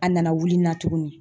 A nana wuli n na tuguni.